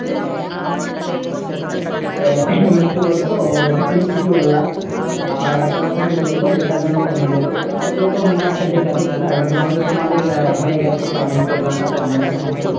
হম সেটাই। এ মানে কি বলতো ওটা তুমি ঠিকই বললা, অ্যাঁ আর আরেকটা একটা কথা মানে কি বলতো যেটা ধরো মানে, প্রত্যেকটা school এ তো মানে একটা date আছে খেলার, এবার হয়তো তোমাদের অ্যাঁ হয়ে গেছে primary school এ খেলাটা তো আমাদের এখনো হয়নি